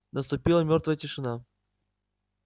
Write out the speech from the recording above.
наступила мёртвая тишина